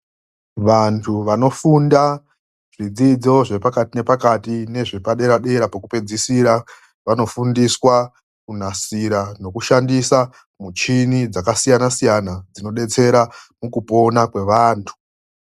Vantu vanofunda zvidzidzo zvepakati nepakati nezvepadera-dera pekupedzisira, vanofundiswa kunasira nekushandisa michini dzakasiyanasiyana dzinobetsera mukupona kwevantu.